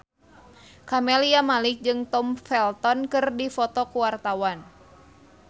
Camelia Malik jeung Tom Felton keur dipoto ku wartawan